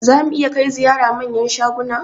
Za mu iya kai ziyara manyan shaguna?